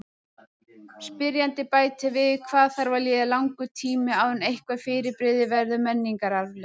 Spyrjandi bætir við: Hvað þarf að líða langur tími áður en eitthvað fyrirbrigði verður menningararfleifð?